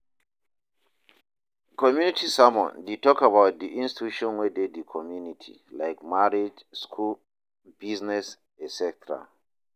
Community sermon de talk about di institutions wey de di community like marriage, school, business etc.